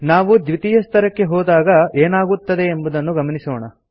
ನಾವು ದ್ವಿತೀಯ ಸ್ತರಕ್ಕೆ ಹೋದಾಗ ಏನಾಗುತ್ತದೆಯೆಂದು ಗಮನಿಸೋಣ